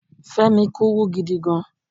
Femi kúrú gidi gan